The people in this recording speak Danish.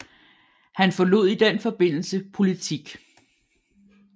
Han forlod i den forbindelse politik